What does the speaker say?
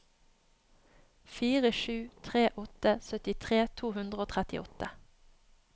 fire sju tre åtte syttitre to hundre og trettiåtte